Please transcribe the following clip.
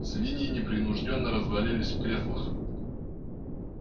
свиньи непринуждённо развалились в креслах